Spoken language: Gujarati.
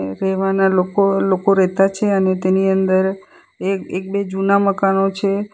રેવાના લોકો લોકો રેતા છે અને તેની અંદર એક એક બે જૂના મકાનો છે.